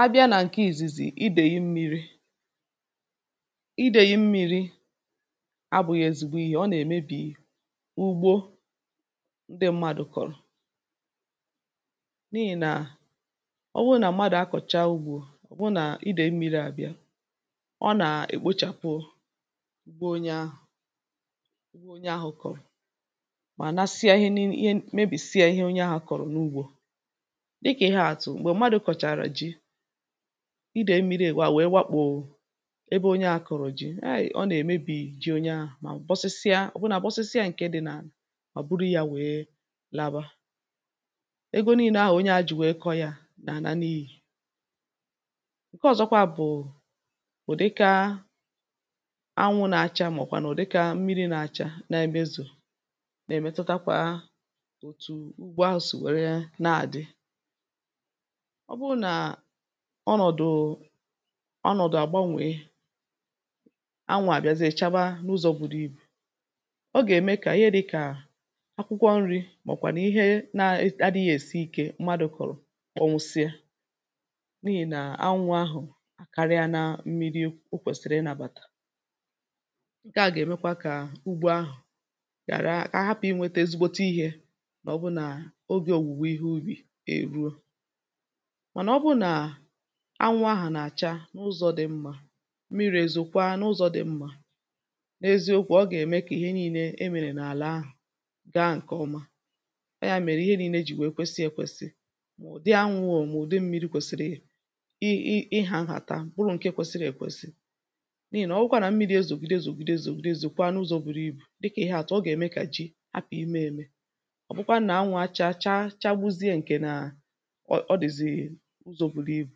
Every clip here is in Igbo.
A bịa nà ǹke ìzizi idèyì mmiri: Idèyì mmiri abụ̇ghị̇ ezigbo ihe, ọ nà-èmebì ugbo ndị mmadụ̀ kọ̀rọ̀ n’ihì nà ọ wụ nà mmadụ̀ akọ̀cha ugbȯ hụ nà idèyì mmiri àbịa, ọ nà-èkpochàpụọ ugbo onye ahụ̀, onye ahụ̀ kọ̀rọ̀, mà nàsịa ihe nih mebìsịa ihe onye ahụ̀ kọ̀rọ̀ n’ugbȯ. Dika ihe atu m̀gbè mmadụ̀ kọ̀chàrà ji idèe mmiri ègwà wee wakpò ebe onye ȧ kụ̇rụ̀ ji àyị̀ ọ nà-èmebì ji onye ahụ̀, mà bọsịsịa òbunà bọsịsịa ǹkè dị̇ nà-ani mà ọ̀ buru yȧ nwèe laaba. Ego niilė ahụ̀ onye ȧ jì nwèe kọ yȧ nà alȧ nịhi. Nke ọ̇zọ̇kwa bụ̀ ùdịka anwụ̇ nà-acha màọ̀kwa nà ùdịka mmiri̇ nà-acha nà-emezò nà-èmetutakwa òtù ugbo ahu si wère nà-àdị. ọ bụrụ nà ọnọ̀dụ̀ ọnọ̀dụ̀ àgbanwè, anwụ̇ àbịazịe chaba n’ụzọ̇ buru ibù, ọ gà-ème kà ihe dị̇ kà akwụkwọ nri̇ màọ̀bụ̀ kwà nà ihe na-adighi èsi ikė mmadụ̀ kọ̀rọ̀ kpọṅwusịa n’ihì nà anwụ̇ ahụ̀ akarịala mmiri̇ o kwèsìrì ịnȧbàtà, ṅ̀ke à gà-èmekwa kà ugbo ahụ̀ ghàra kà hapụ̀ inwėtė ezigbote ihė màọ̀bụ̀ nà ogė ọ̀wùwe ihe ubì e ruo. Ma na obu nà anwụ ahụ̀ nà-àcha n’ụzọ̇ dị mmȧ, mmiri̇ ezo kwa n’ụzọ̇ dị mmȧ, n’eziokwu̇ ọ gà-ème kà ihe nii̇nė e mèrè n’àlà ahụ̀ gaa ǹkè ọma. ọ yȧ mèrè ihe nii̇nė jì wèe kwesi èkwesi. ụ̀dị anwụ̇ o mà ụ̀dị mmiri̇ kwesiri i i i hȧhàta buru ǹke kwesiri èkwesi. N’ihì nà ọ bụkwa nà mmiri̇ ezògidezògidezògide zòkwa n’ụzọ̇ buru ibù dịkà ihe àtụ̀ ọ gà-ème kà ji hapụ̀ ime ème, ọ̀ bụkwa nà anwụ̇ acha chaa chagbuzie ǹkè na ọ dizi n’ụzọ̇ buru ibù,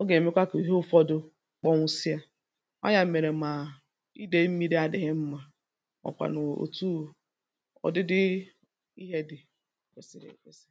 ọ gà-èmekwa kà ihe ụ̇fọdụ kpọ̀nwụsịa. ọ yȧ mèrè mà idèe mmiri̇ adịghị mmȧ ọ kwȧ nà òtù ọ̀dịdị ihe dị̇ kwèsị̀rị̀ kwèsị̀rị̀.